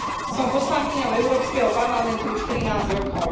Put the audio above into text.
Som poslankyňou Európskeho parlamentu už 13 rokov.